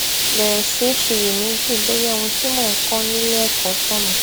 bèrè sí í ṣiyèméjì bóyá ohun tí mò ń kó nílé èkó tònà